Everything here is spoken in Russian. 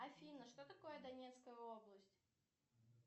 афина что такое донецкая область